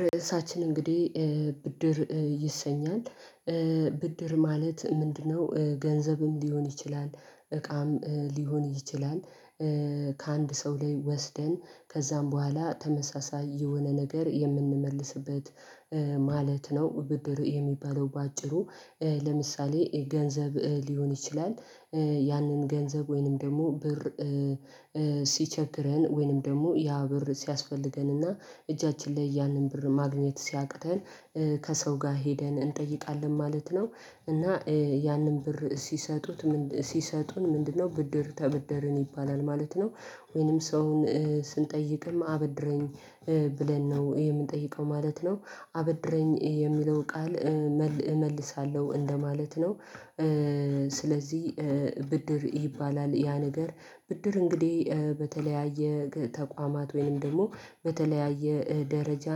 ርዕሳችን እንግዲህ ብድር ይሰኛል። ብድር ማለት ምንድነው? ገንዘብም ሊሆን ይችላል እቃም ሊሆን ይችላል። ከአንድ ሰው ላይ ወስደን ከዛም በኋላ ተመሳሳይ የሆነ ነገር የምንመልስበት ማለት ነው። ብድር የሚባለው በአጭሩ ለምሳሌ ገንዘብ ሊሆን ይችላል። ያንን ገንዘብ ወይንም ደሞ ብር ሲቸግረን ወይንም ደሞ ያ ብር ሲያስፈልገንና እጃችን ላይ ያንን ብር ማግኘት ሲያቅተን። ከሰው ጋ ሄደን እንጠይቃለን ማለት ነው። እና ያንን ብር ሲሰጡት ሲሰጡን ምንድን ነው ብድር ተበደርን ይባላል ማለት ነው። ወይንም ሰውን ስንጠይቅም አበድረኝ ብለን ነው የምንጠይቀው ማለት ነው። አበድረኝ የሚለው ቃል እመልሳለሁ እንደማለት ነው። ስለዚህ ብድር ይባላል ያ ነገር ብድር እንግዲህ በተለያየ ተቋማት ወይንም ደግሞ በተለያየ ደረጃ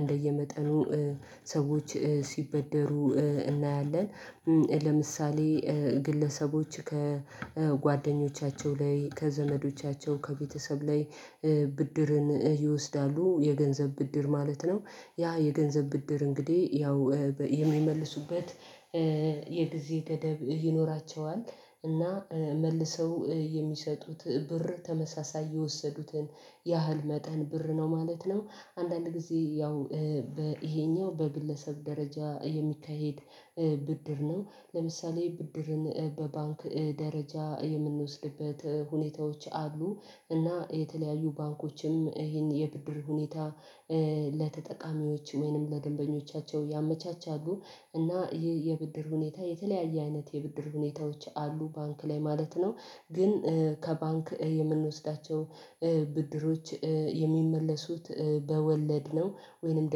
እንደየመጠኑ ሰዎች ሲበደሩ እናያለን። ለምሳሌ ግለሰቦች ከጓደኞቻቸው ላይ ከዘመዶቻቸው ከቤተሰብ ላይ ብድርን ይወስዳሉ የገንዘብ ብድር ማለት ነው። ያ የገንዘብ ብድር እንግዲህ ያው የሚመልሱበት የጊዜ ገደብ ይኖራቸዋል እና መልሰው የሚሰጡት ብር ተመሳሳይ የወሰዱትን ያህል መጠን ብር ነው ማለት ነው። አንዳንድ ጊዜ ያው ይሄኛው በግለሰብ ደረጃ የሚካሄድ ብድር ነው። ለምሳሌ ብድርን በባንክ ደረጃ የምንወስድበት ሁኔታዎች አሉ እና የተለያዩ ባንኮችም ይሄን የብድር ሁኔታ ለተጠቃሚዎች ወይንም ለገንበኞቻቸው ያመቻቻሉ። እና ይሄ የብድር ሁኔታ የተለያየ አይነት የብድር ሁኔታዎች አሉ ባንክ ላይ ማለት ነው። ግን ከባንክ የምንወስዳቸው ብድሮች የሚመለሱት በወለድ ነው ወይንም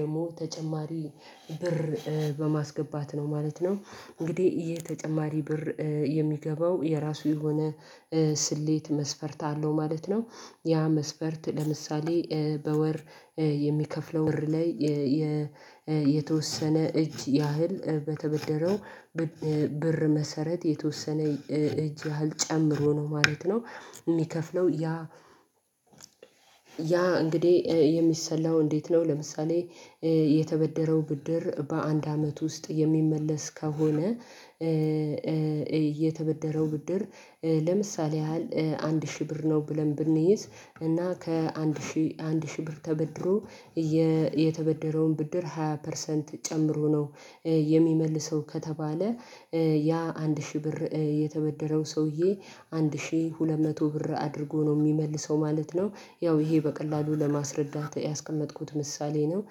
ደግሞ ተጨማሪ ብር በማስገባት ነው ማለት ነው። እንግዲህ የተጨማሪ ብር የሚገባው የራሱ የሆነ ስሌት መስፈርት አለው ማለት ነው። ያ መስፈርት ለምሳሌ በወር የሚከፍለው ብር ላይ የተወሰነ እጅ ያህል በተበደረው ብር መሰረት የተወሰነ እጅ ያህል ጨምሮ ነው ማለት ነው። እሚከፍለው ያ ያ እንግዲህ የሚሰላው እንዴት ነው? ለምሳሌ የተበደረው ብድር በአንድ አመት ውስጥ የሚመለስ ከሆነ የተበደረው ብድር ለምሳሌ ያህል አንድ ሺህ ብር ነው ብለን ብንይዝ እና ከአንድ ሺህ አንድ ሺህ ብር ተበድሮ የተበደረውን ብድር ሃያ ፐርሰንት ጨምሮ ነው። የሚመልሰው ከተባለ ያ አንድ ሺህ ብር የተበደረው ሰውዬ አንድ ሺህ ሁለት መቶ ብር አድርጎ ነው እሚመልሰው ማለት ነው። ያው ይሄ በቀላሉ ለማስረዳት ያስቀመጥኩት ምሳሌ ነው።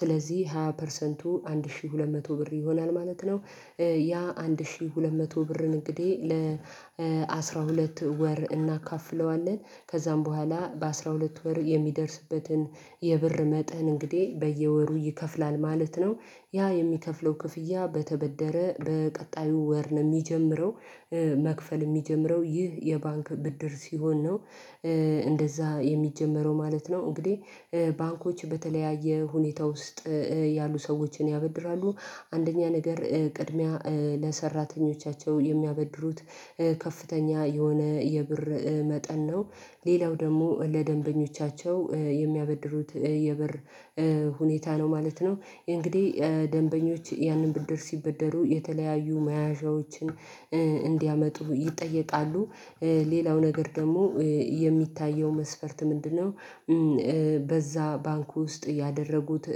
ስለዚህ ሃያ ፐርሰንቱ አንድ ሺ ሁለት መቶ ብር ይሆናል ማለት ነው። ያ አንድ ሺ ሁለት መቶ ብርን እንግዲህ አስራ ሁለት ወር እናካፍለዋለን ከዛም በኋላ በአስራ ሁለት ወር የሚደርስበትን የብር መጠን እንግዲህ በየወሩ ይከፍላል ማለት ነው። ያ የሚከፍለው ክፍያ በተበደረ በቀጣዩ ወር ነው እሚጀምረው መክፈል እሚጀምረው ይህ የባንክ ብድር ሲሆን ነው። እንደዛ የሚጀመረው ማለት ነው እንግዲህ ባንኮች በተለያየ ሁኔታ ውስጥ ያሉ ሰዎችን ያበድራሉ አንደኛ ነገር ቅድሚያ ለሰራተኞቻቸው የሚያበድሩት ከፍተኛ የሆነ የብር መጠን ነው ሌላው ደሞ ለደንበኞቻቸው የሚያበድሩት የበር ሁኔታ ነው ማለት ነው። እንግዲህ ደንበኞች ያንን ብድር ሲበደሩ የተለያዩ መያዣዎችን እንዲያመጡ ይጠየቃሉ። ሌላው ነገር ደግሞ የሚታየው መስፈርት ምንድነው? በዛ ባንኩ ውስጥ ያደረጉት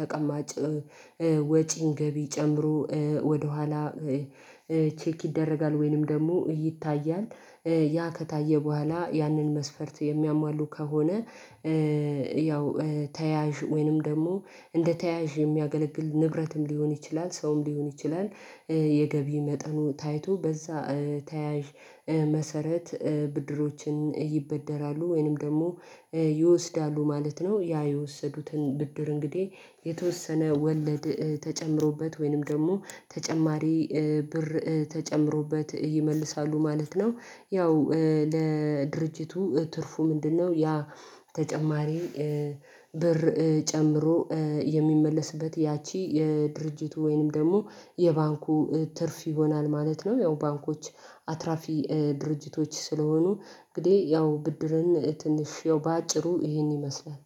ተቀማጭ ወጪን ገቢ ጨምሮ ወደኋላ ቼክ ይደረጋል ወይንም ደሞ ይታያል ያ ከታየ በኋላ ያንን መስፈርት የሚያሟሉ ከሆነ ያው ተያዥ ወይንም ደግሞ እንደ ተያዥ የሚያገለግል ንብረትም ሊሆን ይችላል ሰውም ሊሆን ይችላል። የገቢ መጠኑ ታይቶ በዛ ተያዥ መሰረት ብድሮችን ይበደራሉ ወይንም ደግሞ ይወስዳሉ ማለት ነው። ያ የወሰዱትን ብድር እንግዲህ የተወሰነ ወለድ ተጨምሮበት ወይንም ደግሞ ተጨማሪ ብር ተጨምሮበት ይመልሳሉ ማለት ነው። ያው ለድርጅቱ ትርፉ ምንድነው? ያ ተጨማሪ ብር ጨምሮ የሚመለስበት ያቺ የድርጅቱ ወይንም ደግሞ የባንኩ ትርፍ ይሆናል ማለት ነው። ያው ባንኮች አትራፊ ድርጅቶች ስለሆኑ እንግዲህ ያው ብድርን ትንሽ ያው በአጭሩ ይሄን ይመስላል።